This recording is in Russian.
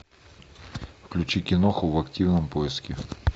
включи киноху в активном поиске